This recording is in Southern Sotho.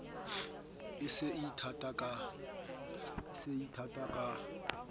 e se e ithata ka